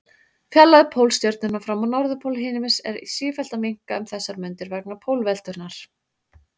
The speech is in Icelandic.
Fjarlægð Pólstjörnunnar frá norðurpól himins er sífellt að minnka um þessar mundir vegna pólveltunnar.